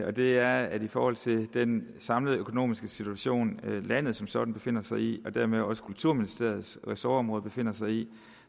og det er at i forhold til den samlede økonomiske situation som landet som sådan befinder sig i og dermed også kulturministeriets ressortområde befinder sig i